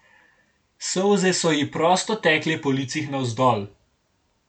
Solze so ji prosto tekle po licih navzdol.